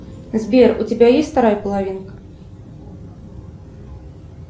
сбер у тебя есть вторая половинка